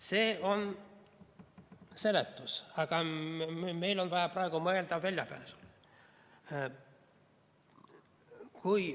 See on seletus, aga meil on vaja praegu mõelda väljapääsule.